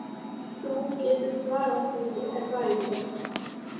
Þú getur svarað því, er það ekki?